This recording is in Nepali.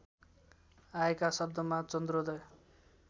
आएका शब्दमा चन्द्रोदय